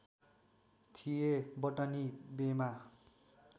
थिए बटनी बेमा